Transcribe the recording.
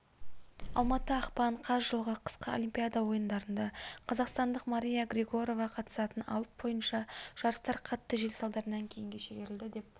алматы ақпан қаз жылғы қысқы олимпиада ойындарында қазақстандық мария григорова қатысатын алып бойынша жарыстар қатты жел салдарынан кейінге шегерілді деп